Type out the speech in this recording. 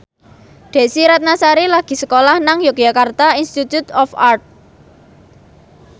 Desy Ratnasari lagi sekolah nang Yogyakarta Institute of Art